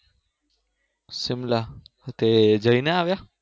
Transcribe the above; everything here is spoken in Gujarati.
સીમલા તો જઈને આવ્યા